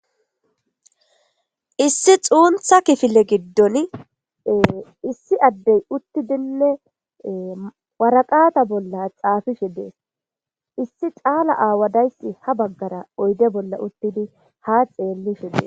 Issi xuuntha kifile giddon issi addey uttidinne waraqata bolla xaafishi dees issi caala aawadayssi ha baggara oyde bolla uttidi ha xeellishi dee.